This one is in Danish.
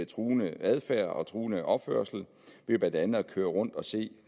truende adfærd og truende opførsel ved blandt andet at køre rundt og se